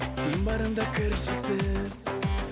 сен барыңда кіршіксіз